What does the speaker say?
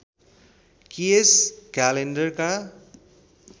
कि यस क्यालेण्डरका